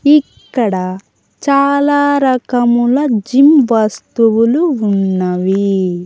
ఇక్కడ చాలారకాముల జిమ్ వస్తువులు ఉన్నవి.